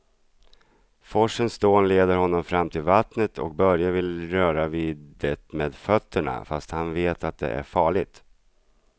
Forsens dån leder honom fram till vattnet och Börje vill röra vid det med fötterna, fast han vet att det är farligt.